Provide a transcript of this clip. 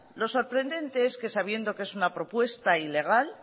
lo sorprendente es que sabiendo que es una propuesta ilegal